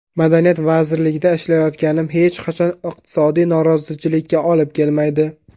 Madaniyat vazirligida ishlayotganim hech qachon iqtisodiy norozichilikka olib kelmaydi.